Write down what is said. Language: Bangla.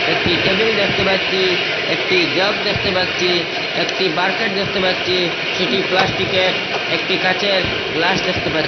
একটি টেবিল দেখতে পাচ্ছি একটি জগ দেখতে পাচ্ছি একটি বারকেট দেখতে পাচ্ছি সেটি প্লাস্টিকের একটি কাঁচের গ্লাস দেখতে পার --